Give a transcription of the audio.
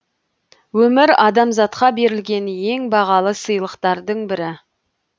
өмір адамзатқа берілген ең бағалы сыйлықтардың бірі